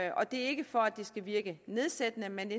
og det er ikke for at det skal virke nedsættende men